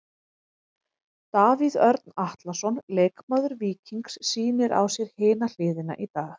Davíð Örn Atlason, leikmaður Víkings sýnir á sér hina hliðina í dag.